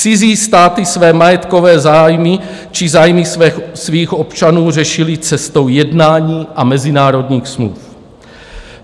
Cizí státy své majetkové zájmy či zájmy svých občanů řešily cestou jednání a mezinárodních smluv.